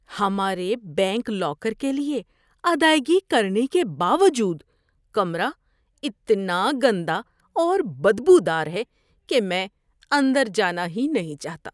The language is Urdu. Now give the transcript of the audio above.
ہمارے بینک لاکر کے لیے ادائیگی کرنے کے باوجود کمرہ اتنا گندا اور بدبو دار ہے کہ میں اندر جانا ہی نہیں چاہتا۔